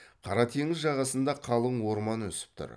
қара теңіз жағасында қалың орман өсіп тұр